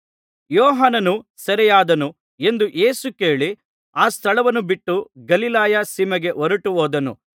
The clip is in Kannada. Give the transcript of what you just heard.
ಯೋಹಾನನು ಸೆರೆಯಾದನು ಎಂದು ಯೇಸು ಕೇಳಿ ಆ ಸ್ಥಳವನ್ನು ಬಿಟ್ಟು ಗಲಿಲಾಯ ಸೀಮೆಗೆ ಹೊರಟು ಹೋದನು